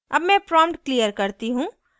अब मैं prompt clear करती हूँ